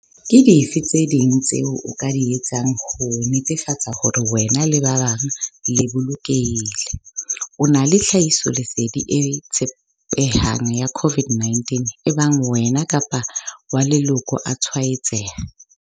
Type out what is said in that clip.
Ke dife tse ding tseo o ka di etsang ho netefatsa hore wena le ba bang le bolokehile? O na le tlhahisoleding e tshepehang ka COVID-19 ebang wena kapa wa leloko a tshwaetseha?